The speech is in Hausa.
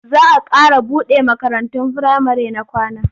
Za a ƙara buɗe makarantun firamare na kwana.